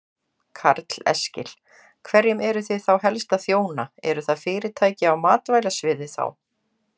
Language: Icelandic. Karl Eskil: Hverjum eruð þið þá helst að þjóna, eru það fyrirtæki á matvælasviði þá?